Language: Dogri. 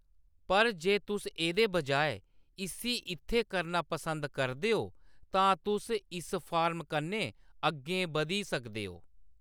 पर, जे तुस एह्‌‌‌दे बजाए इस्सी इत्थै करना पसंद करदे ओ, तां तुस इस फार्म कन्नै अग्गें बधी सकदे ओ।